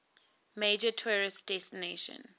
major tourist destination